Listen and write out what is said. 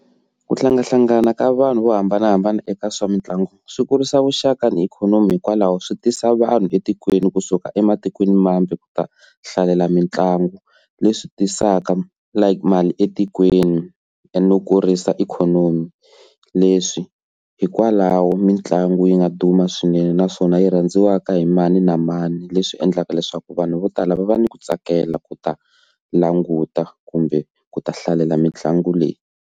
Ku hlangahlangana ka vanhu vo hambanahambana eka swa mitlangu swi kurisa vuxaka ni ikhonomi hikwalaho swi tisa vanhu etikweni kusuka ematikweni mambe ku ta hlalela mitlangu leswi tisaka like mali etikweni e no kurisa ikhonomi, leswi hikwalaho mitlangu yi nga duma swinene naswona yi rhandziwaka hi mani na mani leswi endlaka leswaku vanhu vo tala va va ni ku tsakela ku ta languta kumbe ku ta hlalela mitlangu leyi.